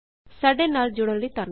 ਸਾਡੇ ਨਾਲ ਜੁੜਨ ਲਈ ਧੰਨਵਾਦ